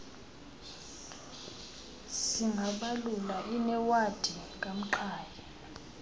singabalula inewadi kamqhayi